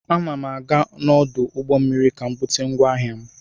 Ana m aga n'ọdụ ụgbọ mmiri ka m bute ngwa ahịa m.